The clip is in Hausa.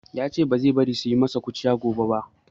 Ya ce ba zai bari su yi ma shi kaciya ba gobe.